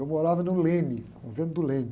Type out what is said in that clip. Eu morava no Leme, no convento do Leme.